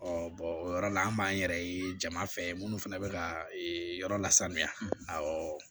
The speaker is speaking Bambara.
o yɔrɔ la an b'an yɛrɛ ye jama fɛ minnu fana bɛ ka yɔrɔ lasaniya awɔ